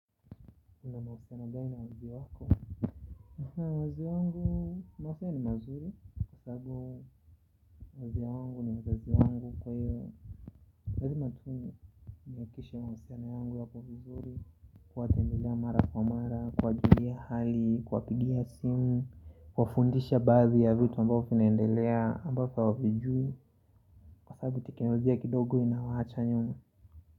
Na mausiano gani na wazazi wako wazazi wangu mausiana ni mazuri kwa sababu wazazi wangu ni wazazi wangu kwa hiyo lazima tu ni niakishe mausiano yangu yako vizuri kuwatembelea mara kwa mara kuwajulia hali kuwa pigia simu kuwa fundisha baadhi ya vitu ambavyo finaendelea ambavyo fiwajui kwa sababu tiknolojia kidogo inawaacha nyumaa.